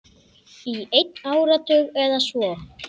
Í einn áratug eða svo.